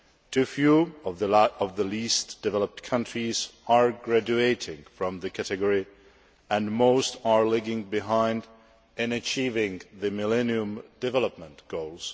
Too few of the least developed countries are graduating from the category and most are lagging behind in achieving the Millennium Development Goals.